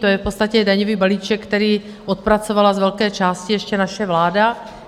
To je v podstatě daňový balíček, který odpracovala z velké části ještě naše vláda.